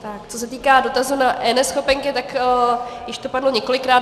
Co se týká dotazu na eNeschopenky, tak již to padlo několikrát.